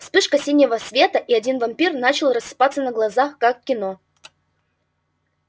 вспышка синего света и один вампир начал рассыпаться на глазах как в кино